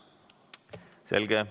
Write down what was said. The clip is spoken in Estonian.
Selge.